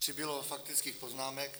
Přibylo faktických poznámek.